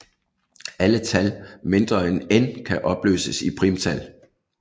Alle tal mindre end n kan opløses i primtal